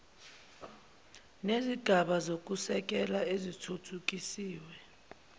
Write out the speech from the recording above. nezigaba zokusekela ezithuthukisiwe